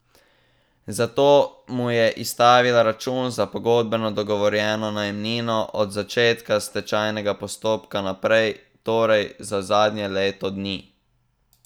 Zato mu je izstavila račun za pogodbeno dogovorjeno najemnino od začetka stečajnega postopka naprej, torej za zadnje leto dni.